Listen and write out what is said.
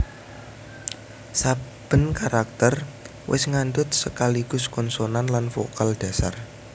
Saben karakter wis ngandhut sekaligus konsonan lan vokal dhasar